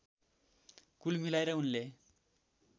कुल मिलाएर उनले